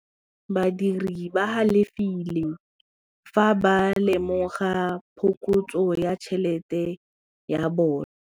Badiri ba galefile fa ba lemoga phokotsô ya tšhelête ya bone.